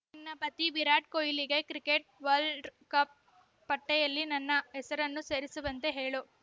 ನಿನ್ನ ಪತಿ ವಿರಾಟ್‌ ಕೊಹ್ಲಿಗೆ ಕ್ರಿಕೆಟ್‌ ವರ್ಲ್ಡ್ರ್ ಕಪ್‌ ಪಟ್ಟೆಯಲ್ಲಿ ನನ್ನ ಹೆಸರನ್ನೂ ಸೇರಿಸುವಂತೆ ಹೇಳು